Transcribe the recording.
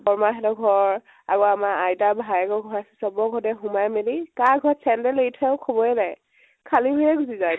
বৰমা হতঁৰ ঘৰ আৰু আমাৰ আৰু আমাৰ আইতা ৰ ভায়েকৰ ঘৰ, চবৰে ঘৰতে সোমাই মেলি কাৰ ঘৰত চেন্দেল এৰি থৈ আহো খবৰে নাই । খালি ভৰিৰে গুছি যাই